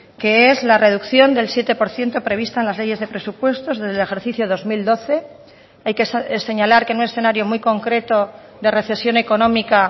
que es la reducción del siete por ciento prevista en las leyes de presupuestos del ejercicio dos mil doce hay que señalar que en un escenario muy concreto de recesión económica